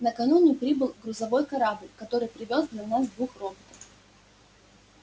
накануне прибыл грузовой корабль который привёз для нас двух роботов